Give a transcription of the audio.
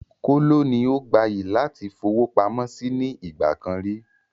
Kóló ni ó gbayì láti fowópamọ́ síí nì ìgbàkan ríi